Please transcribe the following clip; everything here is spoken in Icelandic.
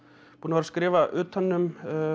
skrifa utan um